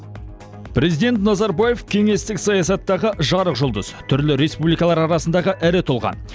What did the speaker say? президент назарбаев кеңестік саясаттағы жарық жұлдыз түрлі республикалар арасындағы ірі тұлға